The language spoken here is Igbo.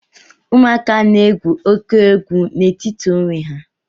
Ụmụaka na-egwu óké egwu n'etiti onwe ha